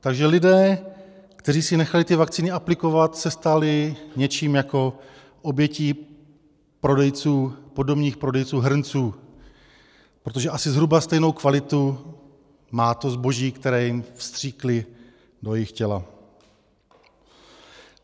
Takže lidé, kteří si nechali ty vakcíny aplikovat, se stali něčím jako obětí podomních prodejců hrnců, protože asi zhruba stejnou kvalitu má to zboží, které jim vstříkli do jejich těla.